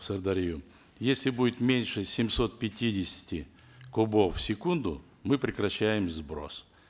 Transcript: в сырдарью если будет меньше семисот пятидесяти кубов в секунду мы прекращаем сброс